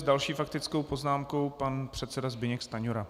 S další faktickou poznámkou pan předseda Zbyněk Stanjura.